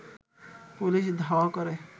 police ধাওয়া করে